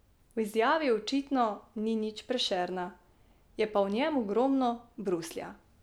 V izjavi očitno ni nič Prešerna, je pa v njej ogromno Bruslja.